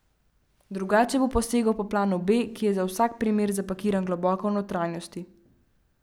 Drugače bo posegel po planu B, ki je za vsak primer zapakiran globoko v notranjosti.